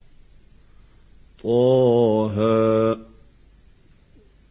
طه